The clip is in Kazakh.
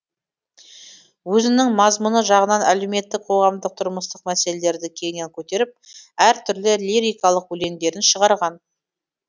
өзінің мазмұны жағынан әлеуметтік қоғамдық тұрмыстық мәселелерді кеңінен көтеріп әр түрлі лирикалық өлеңдерін шығарған